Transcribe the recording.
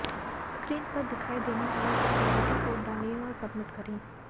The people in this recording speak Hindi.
स्क्रीन पर दिखाई देने वाला सिक्योरिटी कोड डालें और सबमिट करें